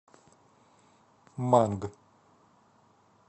манг